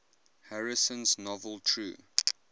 harrison's novel true